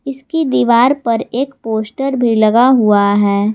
इसकी दीवार पर एक पोस्टर भी लगा हुआ है।